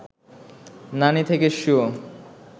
নানী থেকে সু